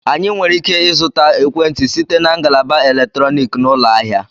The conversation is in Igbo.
Anyị nwere ike ịzụta ekwentị site na ngalaba eletrọnịkị na ụlọ ahịa